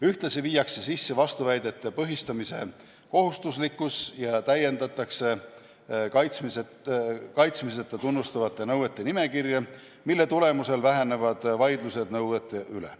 Ühtlasi viiakse sisse vastuväidete põhistamise kohustuslikkus ja täiendatakse kaitsmiseta tunnustatavate nõuete nimekirja, mille tulemusel vähenevad vaidlused nõuete üle.